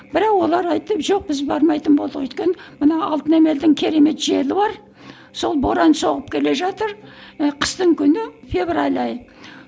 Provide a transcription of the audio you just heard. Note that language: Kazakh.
бірақ олар айтты жоқ біз бармайтын болдық өйткені мына алтын емелдің керемет желі бар сол боран соғып келе жатыр ы қыстың күні февраль айы